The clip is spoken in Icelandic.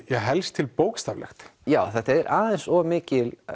helst til bókstaflegt já þetta er aðeins of mikil